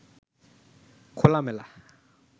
খোলামেলা